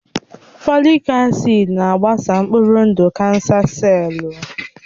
Fòlị́k acị́d na-agbasa mkpụrụ ndụ kánsà sellù